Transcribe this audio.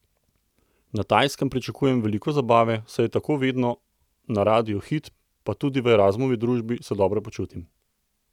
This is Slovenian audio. Na Tajskem pričakujem veliko zabave, saj je tako vedno na Radiu Hit, pa tudi v Erazmovi družbi se dobro počutim.